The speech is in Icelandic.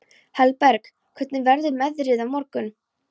Hallberg, hvernig verður veðrið á morgun?